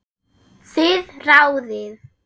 Þið ráðið.